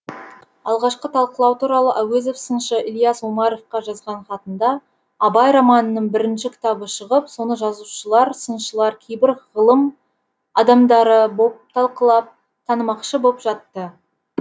алғашқы талқылау туралы әуезов сыншы ілияс омаровқа жазған хатында абай романының бірінші кітабы шығып соны жазушылар сыншылар кейбір ғылым адамдары боп талқылап танымақшы боп жатты